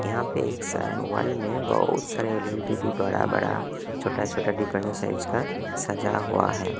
यहां पे बहुत सारे एल_ई_डी टी_वी बड़ा बड़ा छोटा छोटा साइज का सजा हुआ है।